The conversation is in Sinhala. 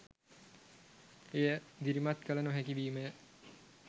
එය දිරිමත් කළ නොහැකි වීමය.